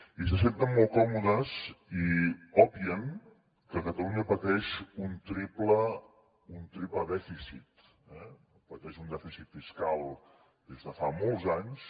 i se senten molt còmodes i obvien que catalunya pateix un triple dèficit eh pateix un dèficit fiscal des de fa molts anys